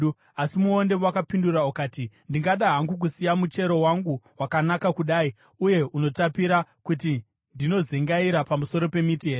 “Asi muonde wakapindura ukati, ‘Ndingada hangu kusiya muchero wangu, wakanaka kudai uye unotapira, kuti ndinozengaira pamusoro pemiti here?’